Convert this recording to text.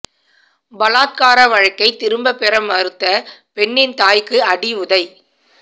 பலாத்கார வழக்கை திரும்ப பெற மறுத்த பெண்ணின் தாய்க்கு அடி உதை